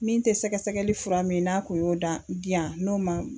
Min tɛ sɛgɛsɛgɛli fura min n'a kun y'o dan di yan n'o man